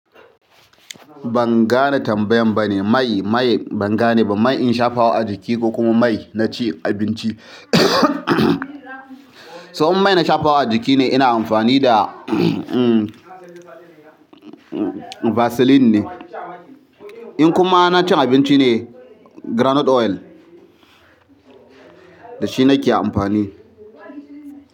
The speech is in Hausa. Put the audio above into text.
Ban gane tambayan ba ne, mai, mai ban gane ba, mai in shafa wa a jiki ko kuma mai na ci abinci? To inmai na shafa wa a jiki ne ina amfani da, um, um, vaseline ne. In kuma na cin abinci ne, groundnut oil da shi nake amfani.